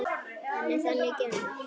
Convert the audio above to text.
Hann er þannig gerður.